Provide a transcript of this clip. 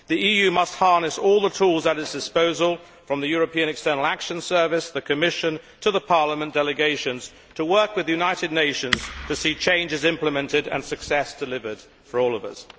The EU must harness all the tools at its disposal, from the European External Action Service and the Commission to Parliament delegations, to work with the United Nations to see changes implemented and success delivered for all of us.